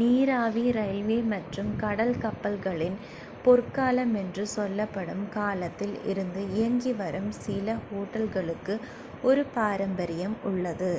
நீராவி ரயில்வே மற்றும் கடல் கப்பற்களின் பொற்காலம் என்று சொல்லப்படும் காலத்தில் இருந்து இயங்கி வரும் சில ஹோட்டல்களுக்கு ஒரு பாரம்பரியம் உள்ளது